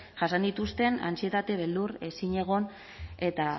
jasan dituzten antsietate beldur ezinegon eta